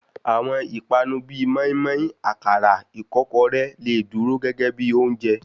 Àwọn ìpani bíi móímóí, àkàrà, ìkọ́kọrẹ́, lè dúró gégé bíi oúnjẹ.